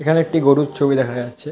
এখানে একটি গরুর ছবি দেখা যাচ্ছে।